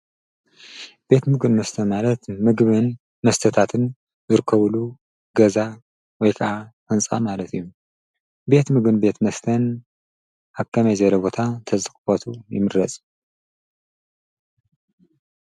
ቤት ምግን መስተ ማለትይምረጹን መስተታትን ብርከቡሉ ገዛ ወይ ከዓ ሕንፃ ማለት እዩ ቤት ምግን ቤት መስተን ሃብ ከመይ ዘይረ ቦታ ተዘኽቦቱ ይምረጹ።